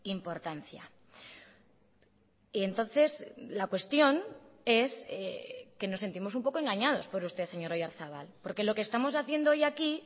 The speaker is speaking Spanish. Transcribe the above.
importancia y entonces la cuestión es que nos sentimos un poco engañados por usted señor oyarzabal porque lo que estamos haciendo hoy aquí